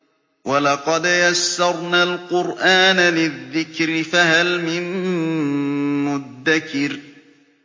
وَلَقَدْ يَسَّرْنَا الْقُرْآنَ لِلذِّكْرِ فَهَلْ مِن مُّدَّكِرٍ